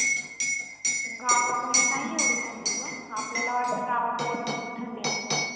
गावाकडे नाही एवढी थंडी गं. आपल्याला वाटतं गावाकडे भरपूर थंडी असेल.